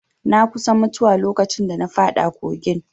Na kusa mutuwa lokacin da na faɗa kogin